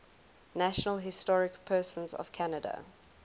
national historic persons of canada